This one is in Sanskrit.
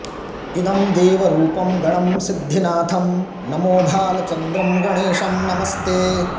इदं देवरूपं गणं सिद्धिनाथं नमो भालचन्द्रं गणेशं नमस्ते